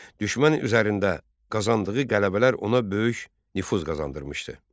Düşmən üzərində qazandığı qələbələr ona böyük nüfuz qazandırmışdı.